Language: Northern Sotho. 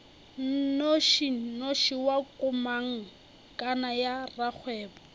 nnošinoši wa komangkanna ya rakgwebo